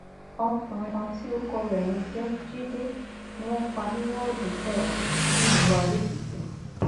ọmọkùnrin kan tí orúkọ rẹ ń jẹ jíde ni wọn pa ní woodu kẹwàá nílùú adoekìtì